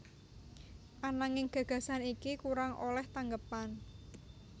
Ananging gagasan iki kurang olèh tanggepan